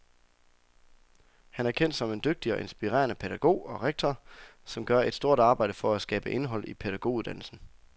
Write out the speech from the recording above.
Han er kendt som en dygtig og inspirerende pædagog og rektor, som gør et stort arbejde for at skabe indhold i pædagoguddannelsen.